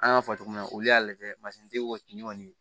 An y'a fɔ cogo min na olu y'a lajɛ masin kɔni